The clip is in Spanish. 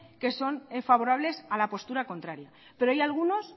que son favorables a la postura contraria pero hay algunos